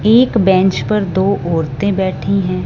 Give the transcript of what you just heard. एक बेंच पर दो औरतें बैठी हैं।